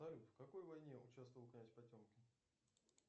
салют в какой войне участвовал князь потемкин